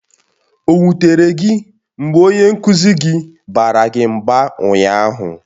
O wutere gị mgbe onye nkụzi gị baara gị mba ụnyaahụ?